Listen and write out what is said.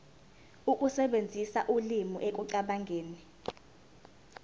ukusebenzisa ulimi ekucabangeni